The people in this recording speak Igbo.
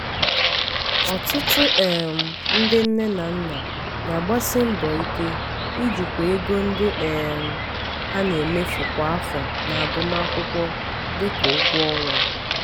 ọtụtụ um ndị nne na nna na-agbasi mbọ ike ijikwa ego ndị um ha na-emefu kwa afọ n'agụmakwụkwọ dị ka ụgwọ ọnwa.